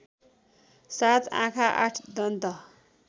७ आँखा ८ दन्त